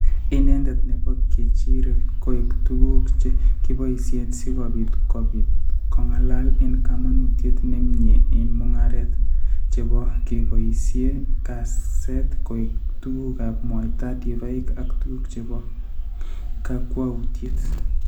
Ineendet ne po keechiirek koek tuguuk che kiboisyee, si kobiit kobiit kong'alaal eng' kamanuutyet ne myee eng' mung'aaret, che kiboisyee kaset koek tuguugap mwaita, divaik ak tuguuk che po kakwautyet.